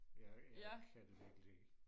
jeg jeg kan det virkelig ikke